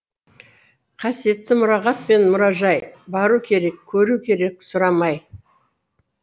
қасиетті мұрағат пен мұражай бару керек көру керек сұрамай